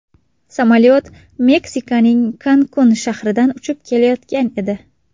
Samolyot Meksikaning Kankun shahridan uchib kelayotgan edi.